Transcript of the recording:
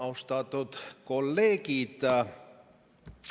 Austatud kolleegid!